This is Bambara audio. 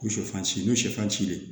Ko sɛfan si ninnu sifansilen